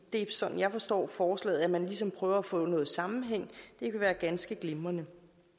er sådan jeg forstår forslaget altså at man ligesom prøver at få noget sammenhæng vil være ganske glimrende